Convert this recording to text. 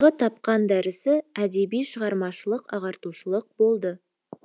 сондағы тапқан дәрісі әдеби шығармашылық ағартушылық болды